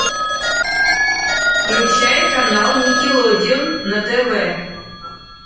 включай канал никелодеон на тв